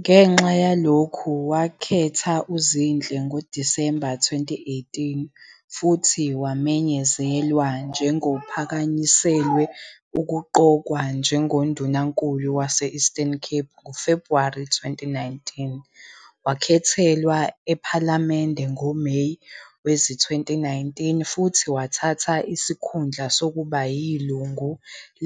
Ngenxa yalokho, wakhetha uZinhle ngoDisemba 2018, futhi wamenyezelwa njengophakanyiselwe ukuqokwa njengoNdunankulu waseWestern Cape ngoFebhuwari 2019. Wakhethelwa ePhalamende ngoMeyi wezi-2019 futhi wathatha isikhundla sokuba yilungu